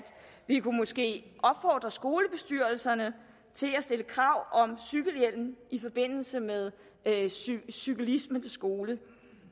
vi måske opfordre skolebestyrelserne til at stille krav om cykelhjelm i forbindelse med cyklisme til skole